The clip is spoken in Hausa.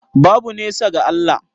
Babu nesa ga Allah